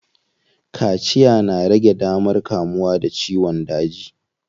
Kaciya na rage damar kamuwa da ciyon daji.